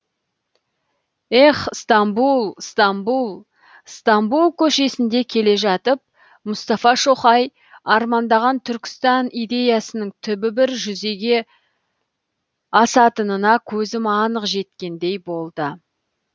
ех стамбұл стамбұл стамбұл көшесінде келе жатып мұстафа шоқай армандаған түркістан идеясының түбі бір жүзеге асатынына көзім анық жеткендей болды